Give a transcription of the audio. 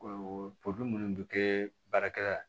Ɔ poli munnu bɛ kɛ baarakɛla ye